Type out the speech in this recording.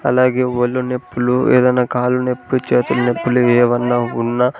అలాగే ఒళ్ళు నొప్పులు ఏదైనా కాలు నొప్పి చేతులు నొప్పులు ఏవన్నా ఉన్న--